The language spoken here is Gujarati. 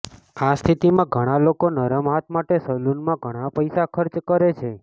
આ સ્થિતિમાં ઘણા લોકો નરમ હાથ માટે સલૂનમાં ઘણા પૈસા ખર્ચ કરે છે